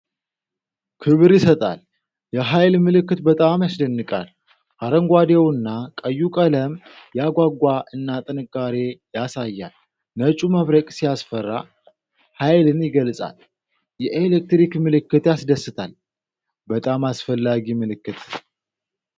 ክብር ይሰጣል! የኃይል ምልክት በጣም ያስደንቃል! አረንጓዴውና ቀዩ ቀለም ያጓጓ እና ጥንካሬ ያሳያል። ነጩ መብረቅ ሲያስፈራ፣ ኃይልን ይገልጻል። የኤሌክትሪክ ምልክት ያስደስታል። በጣም አስፈላጊ ምልክት።